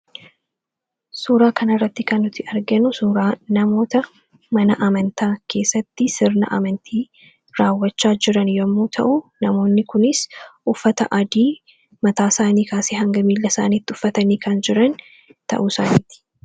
Suuraa kanarratti kan nuti arginu suuraa namoota mana amantaa keessatti sirna amantii raawwachaa jiran yommuu ta'u, namoonni kunis uffata adii mataasaanii kaasee hanga miillasaaniitti uffatanii kan jiran ta'uusaaniiti.